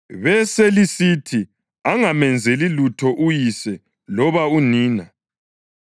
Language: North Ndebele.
beselisithi angamenzeli lutho uyise loba unina.